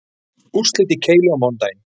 Úrslit í keilu á mánudaginn